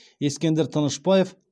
ескендір тынышбаев